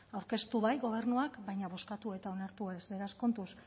aurkeztu bai gobernuak baina bozkatu eta onartu ez beraz kontuz